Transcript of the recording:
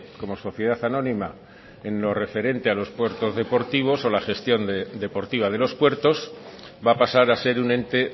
como sociedad anónima en lo referente a los puertos deportivos o la gestión deportiva de los puertos va a pasar a ser un ente